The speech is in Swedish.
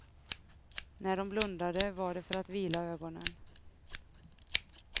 När de blundade var det för att vila ögonen.